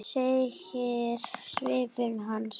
segir svipur hans.